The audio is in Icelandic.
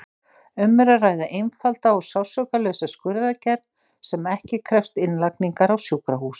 Um er að ræða einfalda og sársaukalausa skurðaðgerð sem ekki krefst innlagningar á sjúkrahús.